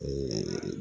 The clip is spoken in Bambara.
Ee